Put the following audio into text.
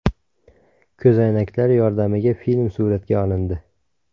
Ko‘zoynaklar yordamiga film suratga olindi.